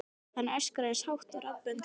Hann öskrar eins hátt og raddböndin leyfa.